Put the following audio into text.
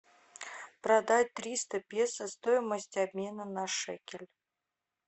продать триста песо стоимость обмена на шекель